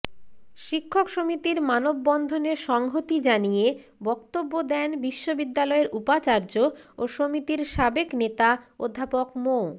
শিক্ষক সমিতির মানববন্ধনে সংহতি জানিয়ে বক্তব্য দেন বিশ্ববিদ্যালয়ের উপাচার্য ও সমিতির সাবেক নেতা অধ্যাপক মো